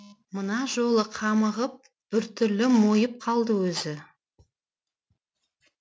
мына жолы қамығып біртүрлі мойып қалды өзі